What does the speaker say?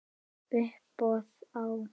Uppboð á